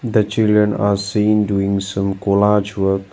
The children are seen doing some collage work.